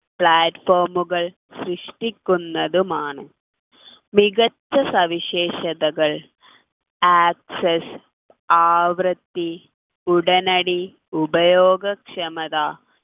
platform കൾ സൃഷ്ടിക്കുന്നതും ആണ് മികച്ച സവിശേഷതകൾ access ആവൃത്തി ഉടനടി ഉപയോഗക്ഷമത